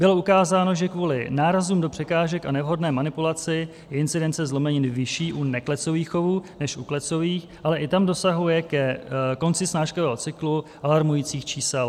Bylo ukázáno, že kvůli nárazům do překážek a nevhodné manipulaci je incidence zlomenin vyšší u neklecových chovů než u klecových, ale i tam dosahuje ke konci snáškového cyklu alarmujících čísel.